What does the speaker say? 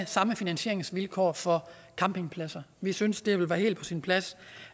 samme finansieringsvilkår for campingpladser vi synes det vil være helt på sin plads